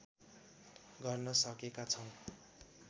गर्न सकेका छौँ